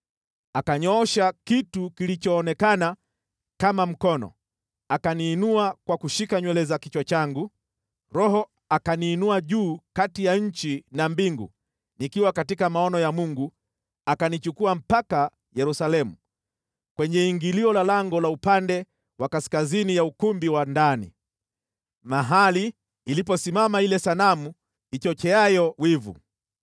Akanyoosha kitu kilichoonekana kama mkono, akaniinua kwa kushika nywele za kichwa changu. Roho akaniinua juu kati ya nchi na mbingu nikiwa katika maono ya Mungu akanichukua mpaka Yerusalemu, kwenye ingilio la lango la upande wa kaskazini ya ukumbi wa ndani, mahali iliposimama ile sanamu ichocheayo wivu.